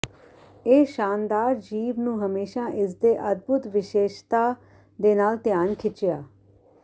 ਇਹ ਸ਼ਾਨਦਾਰ ਜੀਵ ਨੂੰ ਹਮੇਸ਼ਾ ਇਸ ਦੇ ਅਦਭੁਤ ਵਿਸ਼ੇਸ਼ਤਾ ਦੇ ਨਾਲ ਧਿਆਨ ਖਿੱਚਿਆ